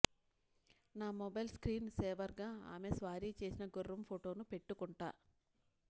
నా mobile screen సేవర్గా ఆమె స్వారీ చేసిన గుర్రం ఫోటోను పెట్టుకుంటా